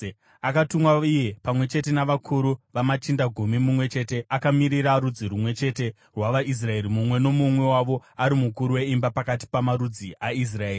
Akatumwa iye pamwe chete navakuru vamachinda gumi, mumwe chete akamirira rudzi rumwe chete rwavaIsraeri, mumwe nomumwe wavo ari mukuru weimba pakati pamarudzi aIsraeri.